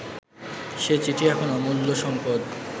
সে চিঠি এখন অমূল্য সম্পদ